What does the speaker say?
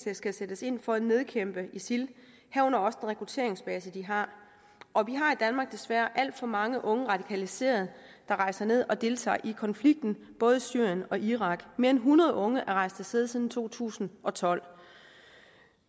skal sættes ind for at nedkæmpe isil herunder også den rekrutteringsbase de har og vi har desværre alt for mange unge radikaliserede der rejser ned og deltager i konflikten både i syrien og irak mere end hundrede unge er rejst af sted tiden to tusind og tolv